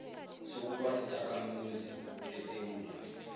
sokuba sisakhamuzi sesewula